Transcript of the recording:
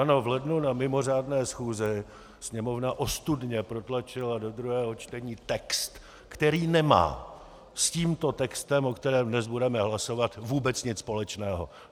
Ano, v lednu na mimořádné schůzi Sněmovna ostudně protlačila do druhého čtení text, který nemá s tímto textem, o kterém dnes budeme hlasovat, vůbec nic společného.